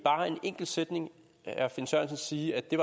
enkelt sætning herre finn sørensen sige at det